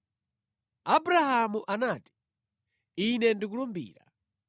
Abrahamu anati, “Ine ndikulumbira.”